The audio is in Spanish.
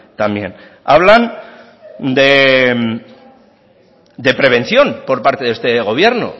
también hablan de prevención por parte de este gobierno